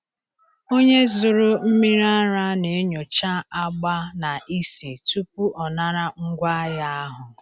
Onye zụrụ mmiri ara na-enyocha agba na ísì tupu ọ nara ngwaahịa ahụ.